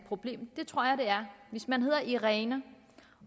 problem det tror jeg der er hvis man hedder irene